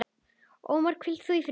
Ómar, hvíl þú í friði.